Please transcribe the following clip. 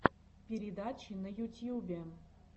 передачи на ютьюбе